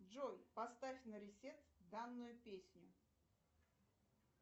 джой поставь на ресет данную песню